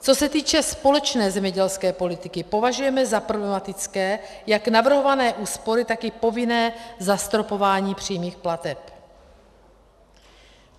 Co se týče společné zemědělské politiky, považujeme za problematické jak navrhované úspory, tak i povinné zastropování přímých plateb.